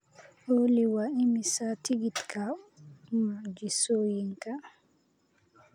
olly waa imisa tigidhka mucjisooyinka